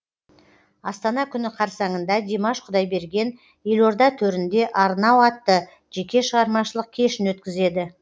астана күні қарсаңында димаш құдайберген елорда төрінде арнау атты жеке шығармашылық кешін өткізеді